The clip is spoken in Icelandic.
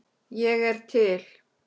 Ég er til